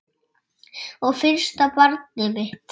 Og fyrsta barnið mitt.